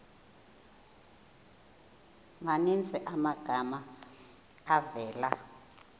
maninzi amagama avela